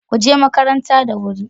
Kuje makaranta da wuri